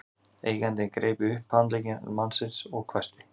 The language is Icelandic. Eigandinn greip í upphandlegg mannsins og hvæsti